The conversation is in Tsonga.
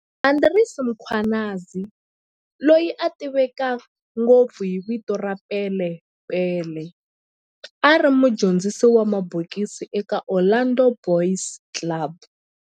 Andries Mkhwanazi, loyi a tiveka ngopfu hi vito ra"Pele Pele", a ri mudyondzisi wa mabokisi eka Orlando Boys Club